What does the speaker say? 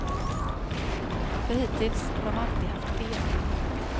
För hittills har de alltid haft fel.